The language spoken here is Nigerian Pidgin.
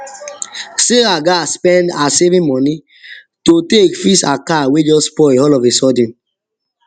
sarah gats spends her savings money to take fix her car wey just spoil all of a sudden